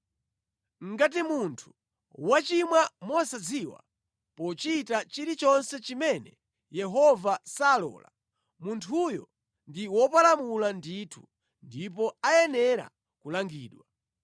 “Ngati munthu wachimwa mosadziwa pochita chilichonse chimene Yehova salola, munthuyo ndi wopalamula ndithu, ndipo ayenera kulangidwa.